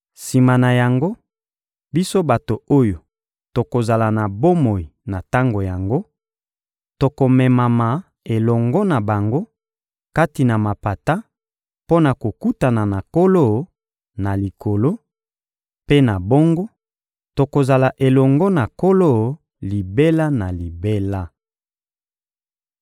Sima na yango, biso bato oyo tokozala na bomoi na tango yango tokomemama elongo na bango kati na mapata mpo na kokutana na Nkolo, na likolo; mpe na bongo, tokozala elongo na Nkolo libela na libela.